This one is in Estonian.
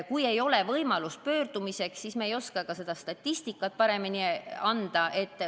Kui ei ole võimalust pöördumiseks, siis ei oska me ka statistikat paremini anda.